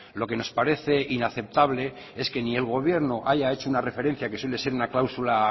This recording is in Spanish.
lo que nos parece inaceptable es que ni el gobierno haya hecho una referencia que suele ser una cláusula